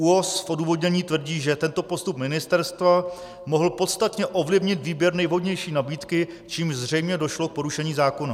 ÚOHS v odůvodnění tvrdí, že tento postup ministerstva mohl podstatně ovlivnit výběr nejvhodnější nabídky, čímž zřejmě došlo k porušení zákona.